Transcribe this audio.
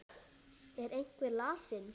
Er einhver lasinn?